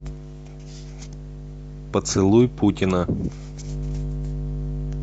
поцелуй путина